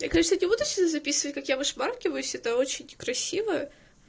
я конечно не буду сюда записывать как я высмаркиваюсь это очень некрасиво